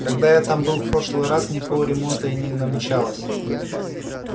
когда я там был в прошлый раз никакого ремонта не намечалось